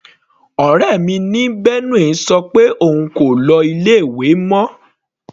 Ọ̀rẹ́ mi ní Benue sọ pé òun kò lọ ilé ìwé mọ.